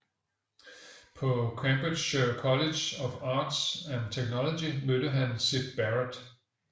På Cambridgeshire College of Arts and Technology mødte han Syd Barrett